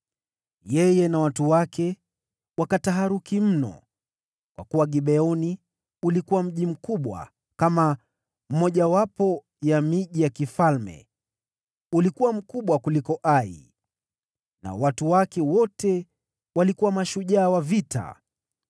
Yeye na watu wake wakataharuki mno kwa kuwa Gibeoni ulikuwa mji mkubwa kama mmojawapo ya miji ya kifalme; ulikuwa mkubwa kuliko Ai, nao watu wake wote walikuwa mashujaa wa vita.